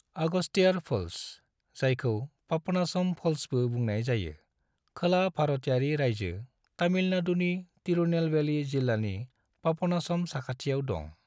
Agasthiyar falls, जायखौ पापनासम फल्सबो बुंनाय जायो, खोला भारतयारि रायजो तमिलनाडुनि तिरुनेलवेली जिल्लानि पापनासम साखाथियाव दं।